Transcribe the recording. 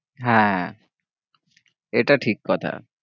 হ্যাঁ এটা ঠিক কথা